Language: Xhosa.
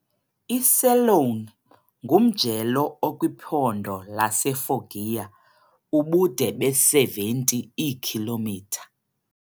I-Celone ngumjelo okwiphondo laseFoggia, ubude be-70 iikhilomitha.